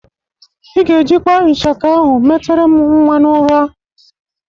Ị ga-ejikwa ishaka ahụ metere m nwa n'ụra.